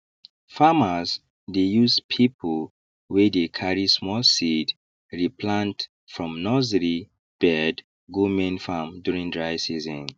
farmers dey use pipiu wey dey carry small seeds re plant from nursery bed go main farm during dry season